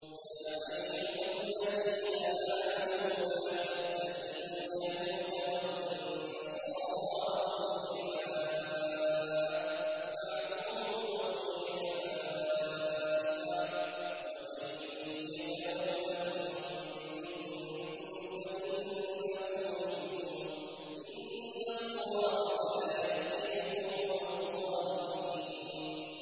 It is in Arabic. ۞ يَا أَيُّهَا الَّذِينَ آمَنُوا لَا تَتَّخِذُوا الْيَهُودَ وَالنَّصَارَىٰ أَوْلِيَاءَ ۘ بَعْضُهُمْ أَوْلِيَاءُ بَعْضٍ ۚ وَمَن يَتَوَلَّهُم مِّنكُمْ فَإِنَّهُ مِنْهُمْ ۗ إِنَّ اللَّهَ لَا يَهْدِي الْقَوْمَ الظَّالِمِينَ